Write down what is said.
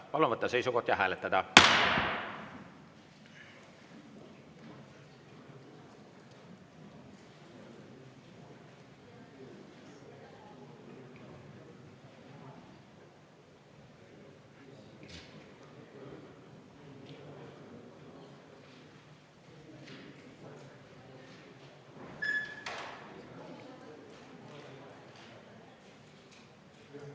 Palun võtta seisukoht ja hääletada!